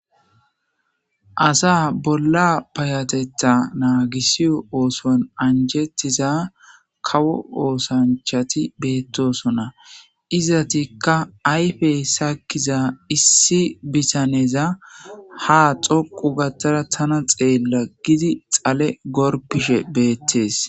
Asa bola paytetha nagisiyo osuwan anjetiza kawo osanchati betosona izatika ayfe sakiza issi bitaneza ha xoqu gada tana xela gizi xale gorpishe detes.